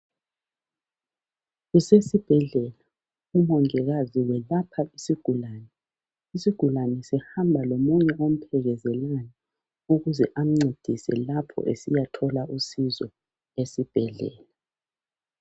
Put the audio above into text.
Kusesibhedlela umongikazi welapha isigulane. Isigulane sihamba lomunye omphelekezeleyo ukuze amncedise lapho esiyathola usizo esibhedlela.